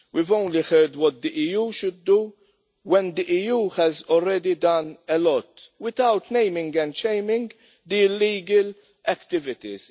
We have only heard about what the EU should do when the EU has already done a lot, without naming and shaming the illegal activities.